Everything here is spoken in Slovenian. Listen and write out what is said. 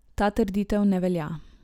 Ta trditev ne velja.